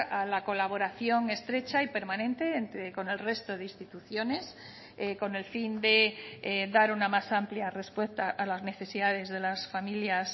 a la colaboración estrecha y permanente entre con el resto de instituciones con el fin de dar una más amplia respuesta a las necesidades de las familias